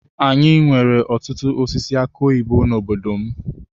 Anyị nwere ọtụtụ osisi aki oyibo n'obodo m.